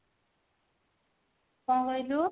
କଣ କହିଲୁ?